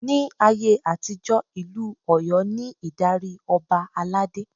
Ni ayé àtijó, Ìlú Ọ̀yọ́ ni ìdarí Ọba aládé.